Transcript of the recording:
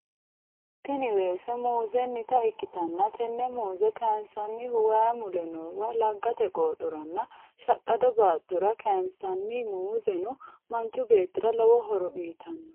Tini weese muuzennita ikkitanna tenne muuze kayinsannihu way mule noowa, laggate qooxora nna shaqqado baattora kayinsanni muuzeno manchu beettira lowo horo uyitanno .